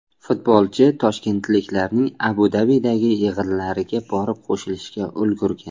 Futbolchi toshkentliklarning Abu Dabidagi yig‘inlariga borib qo‘shilishga ulgurgan.